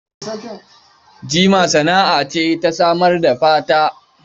Jima sana'a ce ta samar da fata.